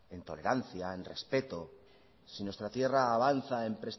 en tolerancia en respeto si nuestra tierra avanza en